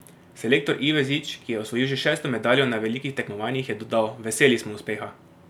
Selektor Ivezič, ki je osvojil že šesto medaljo na velikih tekmovanjih, je dodal: "Veseli smo uspeha.